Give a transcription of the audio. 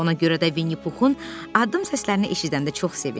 Ona görə də Vinnipuxun addım səslərini eşidəndə çox sevindi.